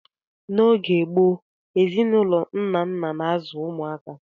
N'oge gboo, ezinụlọ nna nna na-azụ ụmụaka.